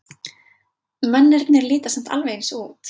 Mennirnir líta samt alveg eins út.